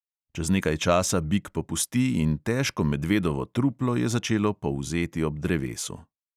Čez nekaj časa bik popusti in težko medvedovo truplo je začelo polzeti ob drevesu.